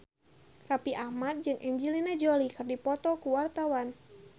Raffi Ahmad jeung Angelina Jolie keur dipoto ku wartawan